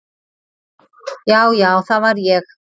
Já já það var ég.